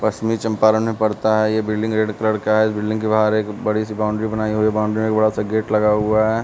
पश्चिमी चंपारण में पड़ता है। यह बिल्डिंग रेड कलर का है इस बिल्डिंग के बाहर एक बड़ी सी बाउंड्री बनाई हुई है बाउंड्री में एक बड़ा सा गेट लगा हुआ है।